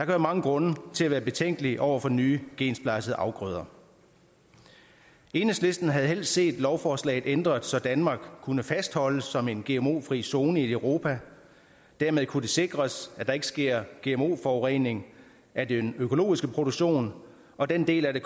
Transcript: være mange grunde til at være betænkelig over for nye gensplejsede afgrøder enhedslisten havde helst set lovforslaget ændret så danmark kunne fastholdes som en gmo fri zone i europa dermed kunne det sikres at der ikke sker gmo forurening af den økologiske produktion og den del af det